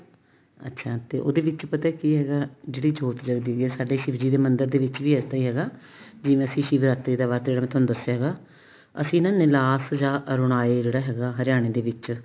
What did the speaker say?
ਅੱਛਾ ਤੇ ਉਹਦੇ ਵਿੱਚ ਪਤਾ ਕੀ ਹੈਗਾ ਜਿਹੜੀ ਜੋਤ ਜਗਦੀ ਪਈ ਆ ਸਾਡੇ ਸ਼ਿਵ ਜੀ ਦੇ ਮੰਦਰ ਦੇ ਵਿੱਚ ਵੀ ਇਸ ਤਰ੍ਹਾਂ ਈ ਹੈਗਾ ਜਿਵੇਂ ਸ਼ਿਵਰਾਤਰੀ ਦਾ ਵਰਤ ਤੁਹਾਨੂੰ ਦੱਸਿਆ ਹੈਗਾ ਅਸੀਂਨਾ ਨਿਲਾਫ਼ ਜਾਂ ਅਰੁਨਾਏ ਜਿਹੜਾ ਹੈਗਾ ਹਰਿਆਣੇ ਦੇ ਵਿੱਚ